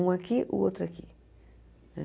Um aqui, o outro aqui.